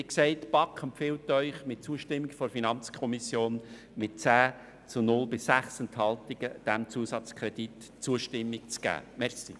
Wie gesagt, empfiehlt Ihnen die BaK mit Zustimmung der FiKo mit 10 zu 0 Stimmen bei 6 Enthaltungen, diesem Zusatzkredit die Zustimmung zu geben.